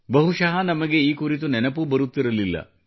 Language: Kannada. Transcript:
ಬಹುಶಃ ನಮಗೆ ಈ ಕುರಿತು ನೆನಪೂ ಬರುತ್ತಿರಲಿಲ್ಲ